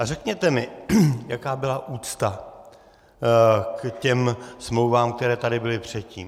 A řekněte mi, jaká byla úcta k těm smlouvám, které tady byly předtím.